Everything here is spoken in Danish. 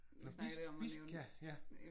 Nå vi vi skal ja